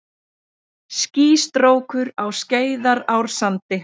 Skýstrókur á Skeiðarársandi.